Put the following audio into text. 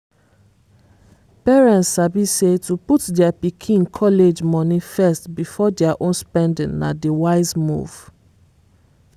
parents sabi say to put dia pikin college money first before dia own spending na di wise move.